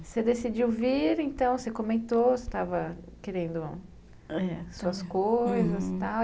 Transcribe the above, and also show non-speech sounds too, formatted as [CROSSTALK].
Você decidiu vir, então, você comentou, você estava querendo [UNINTELLIGIBLE] suas coisas e tal.